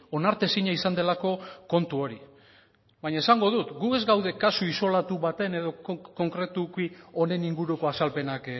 onartezina izan delako kontu hori baina esango dut gu ez gaude kasu isolatu baten edo konkretuki honen inguruko azalpenak